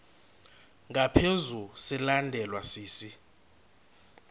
ngaphezu silandelwa sisi